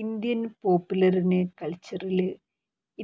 Indian popular കല്ച്ചറില്